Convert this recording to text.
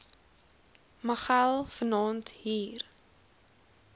machel vanaand hier